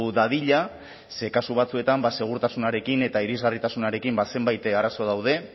dadila ze kasu batzuetan segurtasunarekin eta irisgarritasunarekin zenbait arazo daude